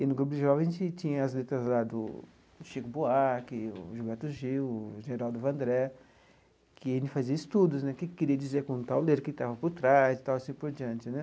E, no Grupo de Jovens, a gente tinha as letras lá do Chico Buarque, o Gilberto Gil, o Geraldo Vandré, que a gente fazia estudos né, o que que queria dizer com o tal letra, o que estava por trás e tal assim por diante né.